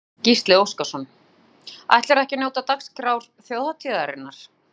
Gísli Óskarsson: Ætlarðu ekki að njóta dagskrár þjóðhátíðarinnar?